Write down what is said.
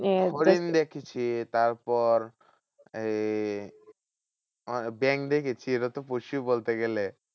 হরিণ দেখেছি। তারপর এই ওখানে ব্যাঙ দেখেছি ওটা তো পশু বলতে গেলে।